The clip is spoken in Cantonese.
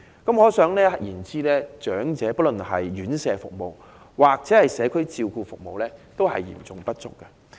可想而知，長者的院舍服務及社區照顧服務均嚴重不足。